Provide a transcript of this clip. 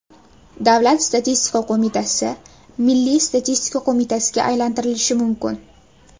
Davlat statistika qo‘mitasi Milliy statistika qo‘mitasiga aylantirilishi mumkin.